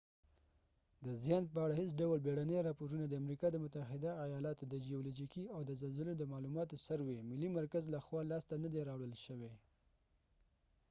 د زیان په اړه هیڅ ډول بیړني راپورونه د امریکا د متحده آیالاتو د جیولوجیکي سروې usgs او د زلزلې د معلوماتو ملي مرکز لخوا لاسته ندي راوړل شوي